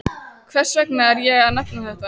Hvers vegna er ég að nefna þetta?